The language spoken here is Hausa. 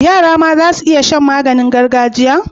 Yara ma zasu iya Shan maganin gargajiya